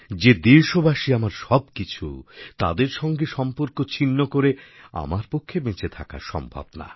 যে দেশবাসী আমার সবকিছু তাদের সঙ্গে সম্পর্ক ছিন্ন করে আমার পক্ষে বেঁচে থাকা সম্ভব না